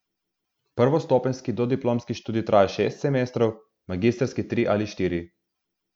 Prvostopenjski dodiplomski študij traja šest semestrov, magistrski tri ali štiri.